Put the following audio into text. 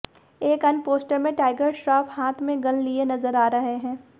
एक अन्य पोस्टर में टाइगर श्रॉफ हाथ में गन लिए नजर आ रहे हैं